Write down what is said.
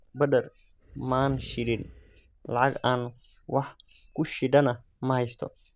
Badar ma aan shidin, lacag aan wax ku shiidana ma haysto.